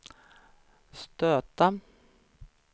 stöta